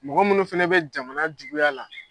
Mɔgɔ minnu fana bɛ jamana juguya la.